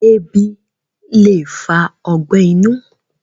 ẹbi le fa ọgbẹ inu